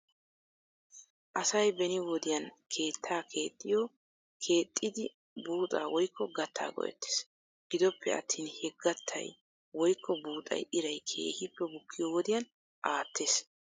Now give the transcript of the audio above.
Asay beni wodiyan keetta keexxiyo keexxiiddi buuxaa woykko gattaa go'ettes. Gidoppe attin he gattay woykko buuxay iray keehippe bukkiyo wodiyan aates.